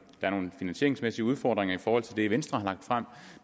er nogle finansieringsmæssige udfordringer i forhold til det venstre har lagt frem